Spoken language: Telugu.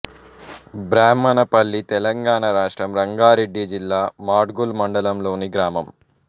బ్రాహ్మణపల్లితెలంగాణ రాష్ట్రం రంగారెడ్డి జిల్లా మాడ్గుల్ మండలం లోని గ్రామం